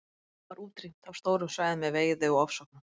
Þeim var útrýmt af stórum svæðum með veiði og ofsóknum.